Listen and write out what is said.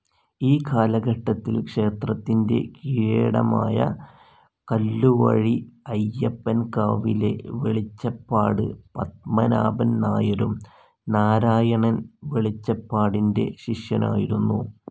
ഈ കാലഘട്ടത്തിൽ ക്ഷേത്രത്തിൻ്റെ കീഴേടമായ കല്ലുവഴി അയ്യപ്പൻ കാവിലെ വെളിച്ചപ്പാട് പത്മനാഭൻ നായരും നാരായണൻ വെളിച്ചപ്പാടിൻ്റെ ശിഷ്യനായിരുന്നു.